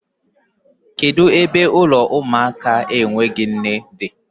Kedu ebe ụlọ ụmụaka enweghị nne dị?